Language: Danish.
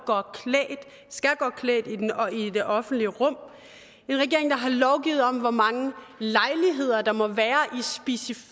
skal gå klædt i det offentlige rum en regering der har lovgivet om hvor mange lejligheder der må være